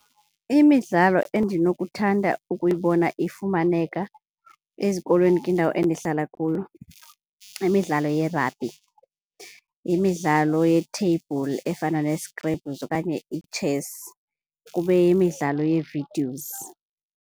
Imidlalo endinokuthanda ukuyibona ifumaneka ezikolweni kwindawo endihlala kuyo yimidlalo ye-rugby, yimidlalo yetheyibhuli efana nee-scrabbles okanye ii-chess, kube yimidlalo yee-videos.